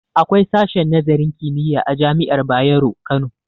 Akwai sashen nazarin kimiyya a jami'ar bayero Kano